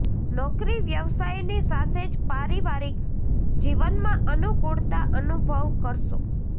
નોકરી વ્યવસાયની સાથે જ પારિવારિક જીવનમાં અનૂકૂળતા અનુભવ કરશો